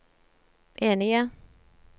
enige